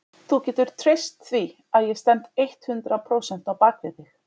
Þú getur treyst því að ég stend eitthundrað prósent á bak við þig.